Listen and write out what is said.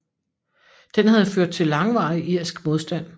Den havde ført til langvarig irsk modstand